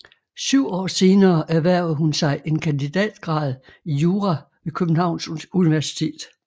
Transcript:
Syv år senere erhvervede hun sig en kandidatgrad i jura ved Københavns Universitet